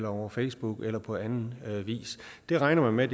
over facebook eller på anden vis det regner man